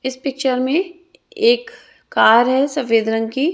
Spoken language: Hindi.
इस पिक्चर में एक कार है सफेद रंग की।